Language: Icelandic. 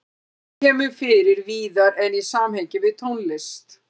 Orðið kemur fyrir víðar en í samhengi við tónlist.